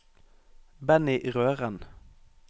Benny Røren